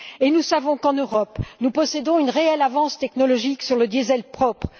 Nous savons qu'en Europe, nous possédons une réelle avance technologique sur le diésel propre.